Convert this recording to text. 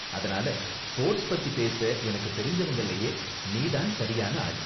அதனால ஸ்போர்ட்ஸ் பத்தி பேச எனக்கு தெரிஞ்சவங்கலயே நீ தான் சரியான ஆளு